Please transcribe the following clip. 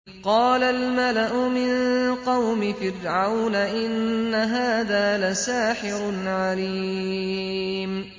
قَالَ الْمَلَأُ مِن قَوْمِ فِرْعَوْنَ إِنَّ هَٰذَا لَسَاحِرٌ عَلِيمٌ